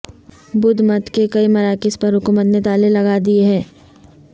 بدھ مت کے کئی مراکز پر حکومت نے تالے لگائے دیے ہیں